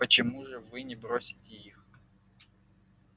почему же вы не бросите их